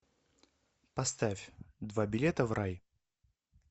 поставь два билета в рай